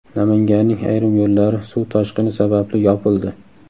Namanganning ayrim yo‘llari suv toshqini sababli yopildi.